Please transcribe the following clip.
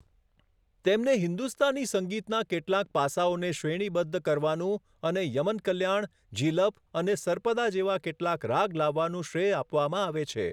તેમને હિન્દુસ્તાની સંગીતનાં કેટલાંક પાસાંઓને શ્રેણીબદ્ધ કરવાનું અને યમન કલ્યાણ, ઝીલફ અને સર્પદા જેવા કેટલાક રાગ લાવવાનું શ્રેય આપવામાં આવે છે.